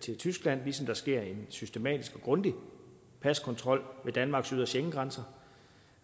til tyskland ligesom der sker en systematisk og grundig paskontrol ved danmarks ydre schengengrænser